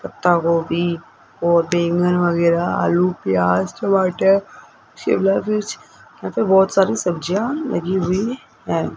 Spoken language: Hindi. पत्ता गोभी और बैंगन वगैरा आलू प्याज टमाटर शिमला मिर्च यहां पे बहुत सारी सब्जियां लगी हुई हैं।